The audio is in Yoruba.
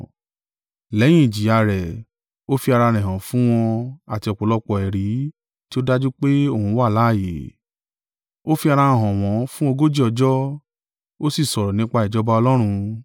Lẹ́yìn ìjìyà rẹ̀, ó fi ara rẹ̀ hàn fún wọn àti ọ̀pọ̀lọpọ̀ ẹ̀rí tí ó dájú pé òun wà láààyè. Ó fi ara hàn wọ́n fún ogójì ọjọ́, ó sì sọ̀rọ̀ nípa ìjọba Ọlọ́run.